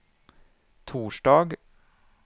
torsdag